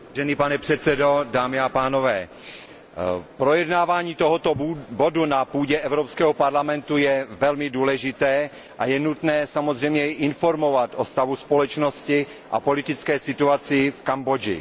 Pane předsedající, projednávání tohoto bodu na půdě Evropského parlamentu je velmi důležité a je nutné samozřejmě i informovat o stavu společnosti a politické situaci v Kambodži.